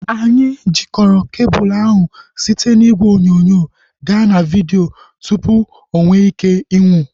Anyị jikọrọ kebul ahu site n'igwe onyonyo gaa na vidio tupu onweike ịnwụ